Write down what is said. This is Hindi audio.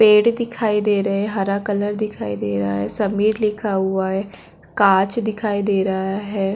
पेड़ दिखाई दे रहै है हरा कलर दिखाई दे रहा है समीर लिखा हुआ है कांच दिखाई दे रहा है।